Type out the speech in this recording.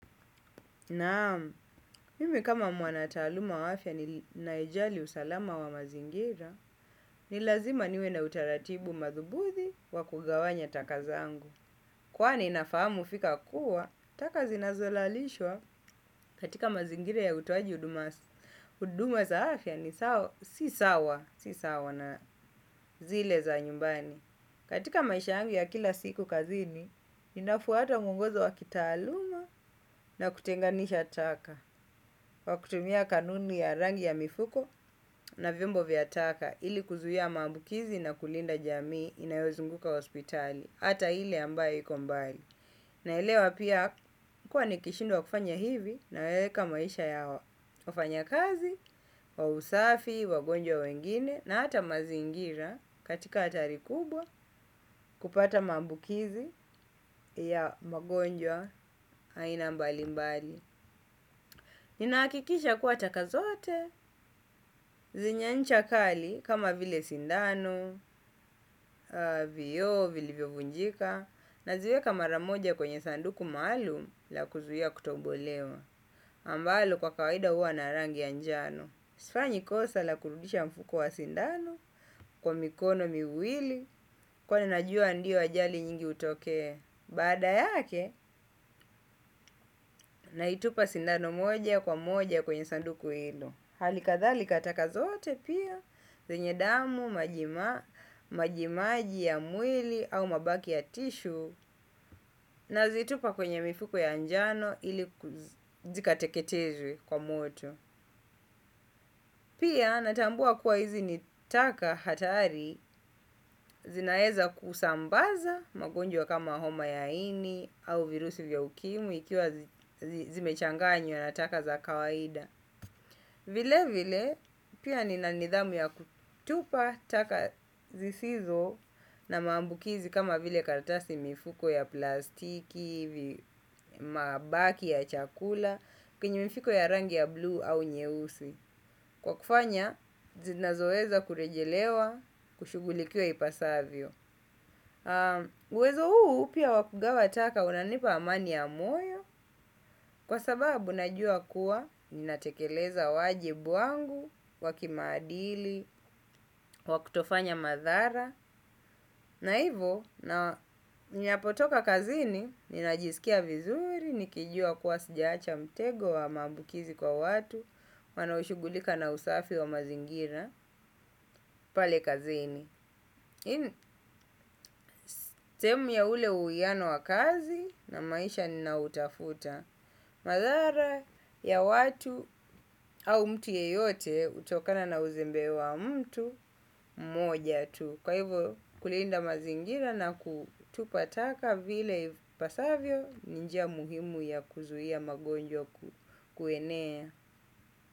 Naam, mimi kama mwana taaluma wa afya ni naijali usalama wa mazingira, ni lazima niwe na utaratibu mathubuthi wa kugawanya taka zangu. Kwani nafahamu fika kuwa, taka zinazolalishwa katika mazingire ya utoaji huduma za afya ni si sawa na zile za nyumbani. Katika maisha yangu ya kila siku kazini ninafuata muongozo wa kitaaluma na kutenganisha taka kwa kutumia kanuni ya rangi ya mifuko na vyombo vya taka ili kuzuia maambukizi na kulinda jamii hata ile ambayo iko mbali. Na elewa pia kuwa ni kishindwa kufanya hivi nayaweeka maisha ya wafanya kazi, wa usafi, wagonjwa wengine na hata mazingira katika hatari kubwa kupata maabukizi ya magonjwa aina mbali mbali. Ninahakikisha kuwa taka zote, zenye ncha kali kama vile sindano, vioo vile vilivyo vunjika na ziweka mara moja kwenye sanduku maalum la kuzuia kutobolewa. Ambalo kwa kawaida huwa na rangi njano sifanyi kosa la kurudisha mfuko wa sindano kwa mikono miwili kwani najua ndio ajali nyingi hutokea. Baada yake naitupa sindano moja kwa moja kwenye sanduku hilo hali kadhalika taka zote pia zenye damu, majima, majimaji ya mwili au mabaki ya tishu. Nazitupa kwenye mifuko ya njano ili zikateketezwe kwa moto. Pia natambua kuwa hizi ni taka hatari. Zinaeza kusambaza magonjwa kama homa ya ini au virusi vya ukimwi ikiwa zimechanganywa na taka za kawaida. Vile vile nina nidhamu ya kutupa taka zisizo na maambukizi, karatasi, mifuko ya plastiki, mabaki ya chakula kwenye mifuko kwenye mifuko ya rangi ya bluu au nyeusi. Kwa kufanya, zinazoeza kurejelewa, kushugulikia ipasavyo. Uwezo huu pia wa kugawa taka unanipa amani ya moyo, kwa sababu najua kuwa ninatekeleza wajibu wangu, wakimaadili, wakutofanya madhara. Na hivo, ninapotoka kazini, ninajisikia vizuri, nikijua kuwa sijaacha mtego wa maabukizi kwa watu, wanaoshugulika na usafi wa mazingira pale kazini. Sehemu ya ule uiano wa kazi na maisha nina utafuta. Madhara ya watu au mtu yeyote hutokana na uzembe wa mtu moja tu kwa hivyo kulinda mazingira na kutupa taka vile ipasavyo ni njia muhimu ya kuzuia magonjwa kuenea.